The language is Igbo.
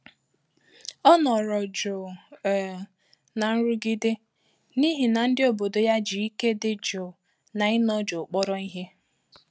Ọ́ nọ́rọ jụ́ụ̀ um nà nrụ́gídé n’íhí nà ndị́ òbòdò yá jì íké dị́ jụ́ụ̀ nà ị́nọ jụ́ụ̀ kpọ́rọ ìhè.